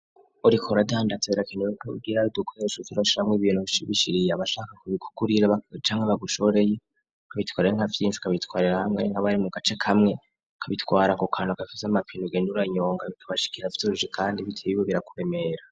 Ori koradandazerakeneweko ugira ari dukoresha zura camwe ibintu bishibishiriye abashaka kubikukurira bak canke bagushoreye kabitwarira nk'avyinchi kabitwarira hamwe nka bari mu gace kamwe kabitwara ku kantu agafiza amapinu genduranyonga bikabashikira vyoruje, kandi biteyibo birakuremera.